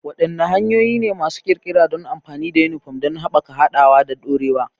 Wadanne hanyoyi ne masu ƙirƙira don amfani da yunifom don haɓaka haɗawa da dorewa?